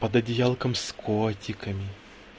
под одеялком с котиками